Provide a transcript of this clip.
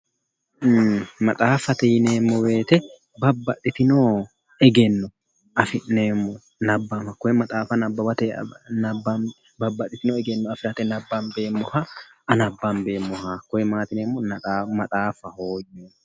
Maxaaffate yineemmo wooyiite babbbaxitino egenno afi'neemmo nabbawa hakkoye maxaafa nabbawateyi afi'neemmo babbaxitewo egenno afirate nabbanbeemmoha, hakkoye maati yineemmo maxaafaho yineemmo.